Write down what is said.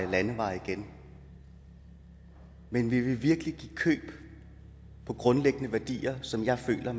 og landeveje igen men vil vi virkelig give køb på grundlæggende værdier som jeg føler